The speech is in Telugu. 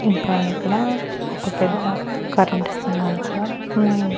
ఇంకా ఇక్కడ ఒక పెద్ద కరెంటు స్తంభాలు కూడా ఉన్నాయండి.